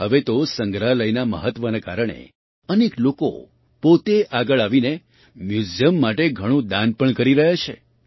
હવે તો સંગ્રહાલયના મહત્ત્વના કારણે અનેક લોકો પોતે આગળ આવીને મ્યૂઝિયમ માટે ઘણું દાન પણ કરી રહ્યા છે